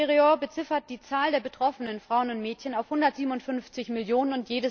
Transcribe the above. Misereor beziffert die Zahl der betroffenen Frauen und Mädchen auf 157 Millionen.